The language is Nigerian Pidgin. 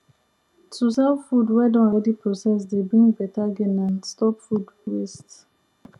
to sell food wey don already process dey bring better gain and stop food waste